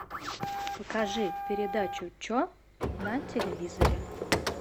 покажи передачу че на телевизоре